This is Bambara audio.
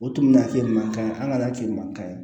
O tuna kɛ man ɲi an ka hakɛ man ɲi